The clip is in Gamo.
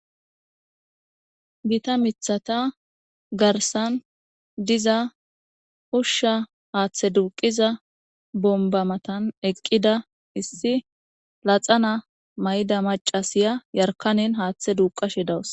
Gita mithata garsan diza usha hathe duqiza gita bobba matan eqida issi laxana mayida macashay hathe duqashe dawuse